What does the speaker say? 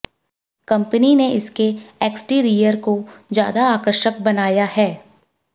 company ने इसके exterior को ज्यादा आकर्षक बनाया है